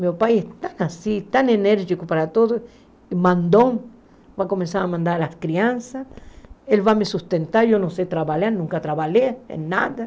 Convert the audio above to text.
Meu pai é tão assim, tão enérgico para todos, mandou, vai começar a mandar as crianças, ele vai me sustentar, eu não sei trabalhar, nunca trabalhei em nada.